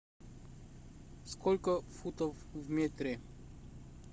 сколько футов в метре